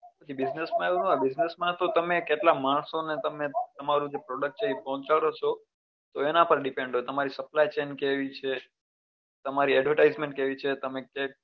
અને business માં એવું નાં હોય business માં તો તમે કેટલા માણસો ને તમે તમારું જે product છે એ પહોચાડો છે એ એના પર depend હોય તમારી supply san કેવી છે તમારી advertisement કેવી છે